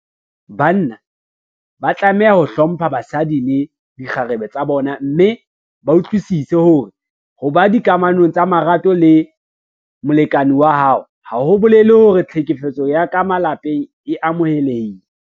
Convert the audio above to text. Banna ba tlameha ho hlompha basadi le dikgarebe tsa bona mme ba utlwisise hore ho ba dikamanong tsa marato le molekane wa hao ha ho bolele hore tlhekefetso ya ka malapeng e amohelehile.